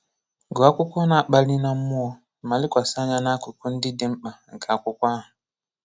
Gụọ akwụkwọ na-akpali na mmụọ, ma lekwasị anya n'akụkụ ndị dị mkpa nke akwụkwọ ahụ.